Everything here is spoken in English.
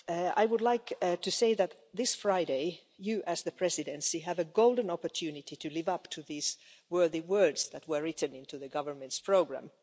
I would like to say that this Friday, you, as the Presidency, have a golden opportunity to live up to these worthy words that were written into the government's programme.